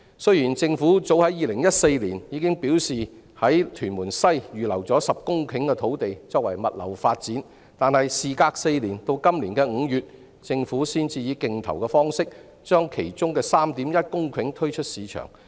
雖然政府早於2014年表示已在屯門西預留了10公頃土地作物流發展，但事隔4年，直至今年5月，政府才以競投方式把當中 3.1 公頃土地推出市場。